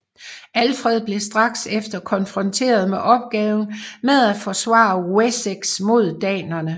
Alfred blev straks efter konfronteret med opgaven med at forsvare Wessex mod danerne